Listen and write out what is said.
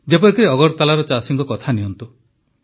ଯେପରିକି ଅଗରତାଲାର ଚାଷୀଙ୍କ କଥା ନିଅନ୍ତୁ